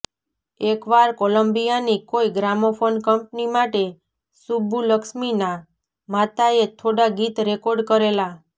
એકવાર કોલંબિયાની કોઈ ગ્રામોફોન કંપની માટે સુબ્બુલક્ષ્મીનાં માતાએ થોડા ગીત રેકોર્ડ કરેલા